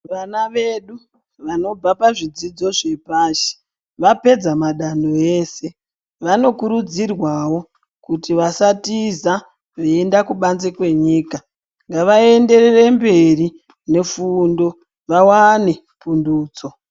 Vana vedu vanobva pazvidzidzo zvepashi Vapedza madanho ese vanokurudzirwawo kuti vasatiza veienda kubanze kwenyika ngavaenderere mberi nefundo vawane pundutso.